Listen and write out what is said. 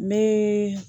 N bɛ